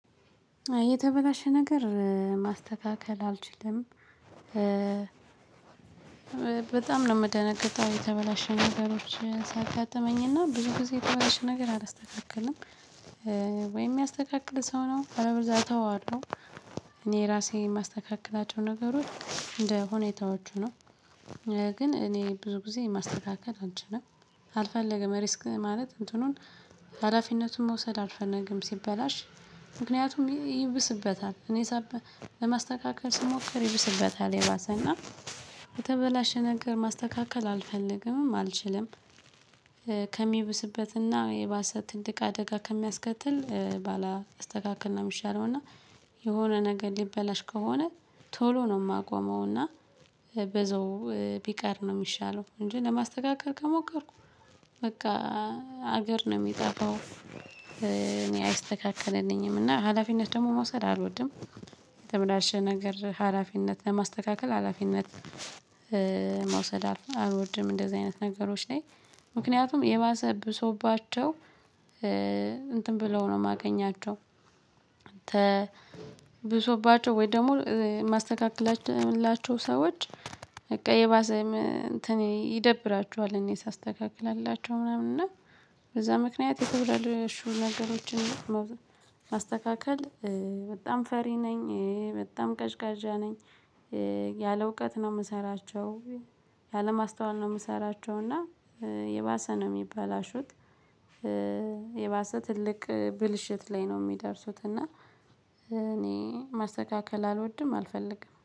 የተበላሸ ነገር ማስተካከል አልችልም። በጣም ነው የምደነግጠው የተበላሸ ነገሮች ሲያጋጥመኝ እና ብዙ ጊዜ የተበላሸ ነገር አላስተካከልም። ወይም የሚያስተካክል ሰው ነው አለበለዛ እተወዋለው። እኔ ራሴ የማስተካክላቸው ነገሮች እንደ ሁኔታዎቹ ነው። ግን እኔ ብዙ ጊዜ ማስተካከል አልችልም። አልፈለግም ሪስክ ማለት እንትኑን ሀላፊነቱን መውሰድ አልፈልግም። ሲበላሽ ምክንያቱም ይብስበታል እኔ ለማስተካከል ስሞክር ይብስበታል። የባሰ እና የተበላሸ ነገር ማስተካከል አልፈልግምም አልችልም። ከሚብስበት እና የባሰ ትልቅ አደጋ ከሚያስከትል ባላስተካክል ነው የሚሻለው። እና የሆነ ነገር ሊበላሽ ከሆነ ቶሎ ነው የማቆመው። እና በዘው ቢቀር ነው የሚሻለው። እንጂ ለማስተካከል ከሞከርኩ በቃ ሀገር ነው የሚጠፋው። እኔ አይስተካከልልኝም እና ሀላፊነት ደግሞ መውሰድ አልወድም። የተበላሸ ነገር ሀላፊነት ለማስተካከል ሀላፊነት መውሰድ አልወድም። እንደዚህ አይነት ነገሮች ላይ ምክንያቱም የባሰ ብሶባቸው እንትን ብለው ነው የማገኛቸው። ብሶባቸው ወይ ደግሞ ማስተካክላቸው ላቸው ሰዎች። በቃ የባሰ እንትኔ ይደብራቸኋል እኔ ሳስተካክልላቸው ምናምን እና። በዛ ምክንያት የተበላሹ ነገሮችን ማስተካከል በጣም ፈሪ ነኝ በጣም ቀዥቃዥ ነኝ። ያለ እውቀት ነው የምሰራቸው ያለማስተዋል ነው የምሰራቸው እና የባሰ ነው የሚበላሹት። የባሰ ትልቅ ብልሽት ላይ ነው የሚደርሱት። እና እኔ ማስተካከል አልወድም አልፈልግም